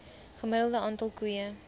gemiddelde aantal koeie